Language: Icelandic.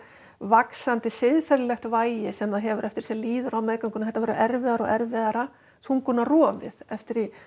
vaxandi siðferðislegt vægi sem það hefur eftir því sem líður á meðgönguna þetta verður erfiðara og erfiðara eftir því